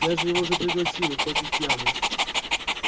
я же его уже пригласил хоть и спьяну